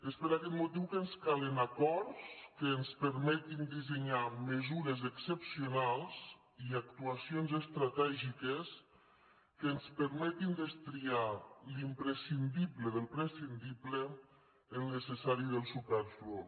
és per aquest motiu que ens calen acords que ens permetin dissenyar mesures excepcionals i actuacions estratègiques que ens permetin destriar l’imprescindible del prescindible el necessari del superflu